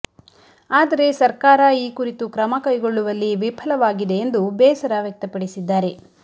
ಆದರೆ ಸರ್ಕಾರ ಈ ಕುರಿತು ಕ್ರಮ ಕೈಗೊಳ್ಳುವಲ್ಲಿ ವಿಫಲವಾಗಿದೆ ಎಂದು ಬೇಸರ ವ್ಯಕ್ತಪಡಿಸಿದ್ದಾರೆ